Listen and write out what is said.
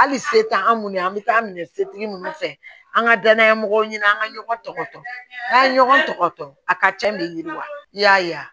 Hali se t'an munnu an bɛ taa minɛ setigi munnu fɛ an ka danaya mɔgɔw ɲini an ŋa ɲɔgɔn tɔ n'a ye ɲɔgɔn tɔgɔtɔ a ka cɛn de ɲini wa i y'a ye wa